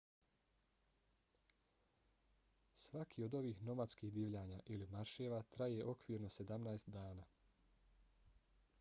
svaki od ovih nomadskih divljanja ili marševa traje okvirno 17 dana